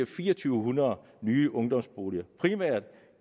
fire hundrede nye ungdomsboliger primært